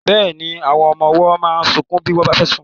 Bẹ́ẹ̀ni, àwọn ọmọ ọwọ́ máa ń sunkún bí wọ́n bá fẹ́ sùn.